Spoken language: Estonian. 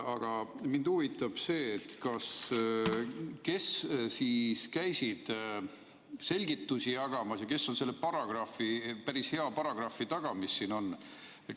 Aga mind huvitab see, kes käisid selgitusi jagamas ja kes on selle päris hea paragrahvi taga, mis siin on.